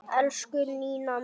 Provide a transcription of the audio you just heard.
Elsku Nína mín.